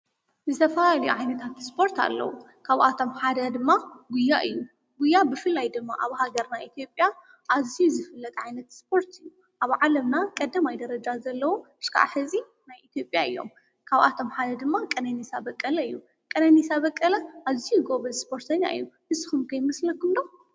ዝተፈላለዩ ዓይነታት ስፖርት ኣለዉ፡፡ ካብኣቶም ሓደ ድማ ጕያ እዩ፡፡ ጕያ ብፍላይ ድማ ኣብ ሃገርና ኢትዮጵያ ኣዝዩ ዝፍለጥ ዓይነት ስፖርቲ እዩ፡፡ ኣብ ዓለምና ቀዳማይ ደረጃ ዘለዉ ክሳብ ሕዚ ናይ ኢትዮጵያ እዮም፡፡ ካብኣቶም ሓደ ድማ ቀነኒሳ በቀለ እዩ፡፡ ቀነኒሳ በቀለ ኣዝዩ ጐበዝ ስፖርተኛ እዩ፡፡ ንስኹም ከ ይመስለኩም ዶ?